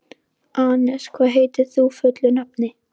Anes, hvað heitir þú fullu nafni?